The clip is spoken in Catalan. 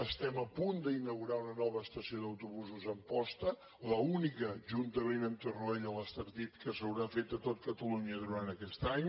estem a punt d’inaugurar una nova estació d’autobusos a amposta l’única juntament amb torroella l’estartit que s’haurà fet a tot catalunya durant aquest any